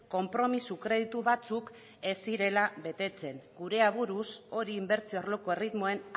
konpromiso kreditu batzuk ez zirela betetzen gure aburuz hori inbertsio arloko erritmoen